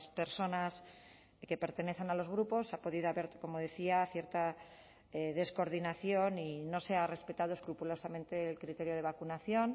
personas que pertenecen a los grupos ha podido haber como decía cierta descoordinación y no se ha respetado escrupulosamente el criterio de vacunación